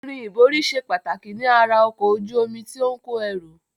Irin ìborí ṣe pàtàkì ní ara ọkọ̀ ojú omi tí ó ń kò ẹrù